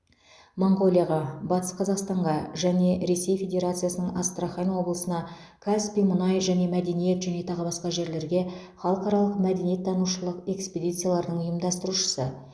монғолияға батыс қазақстанға және ресей федерациясының астрахан облысына каспий мұнай және мәдениет және тағы басқа жерлерге халықаралық мәдениеттанушылық экспедициялардың ұйымдастырушысы